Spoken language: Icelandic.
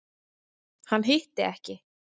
Hann hitti ekki.